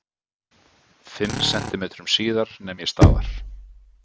Fimm sentímetrum síðar nem ég staðar.